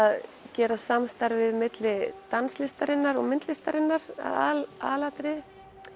gera samstarfið milli danslistarinnar og myndlistarinnar að aðalatriði